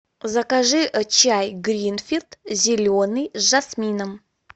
закажи чай гринфилд зеленый с жасмином